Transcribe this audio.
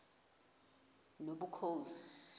nobukhosi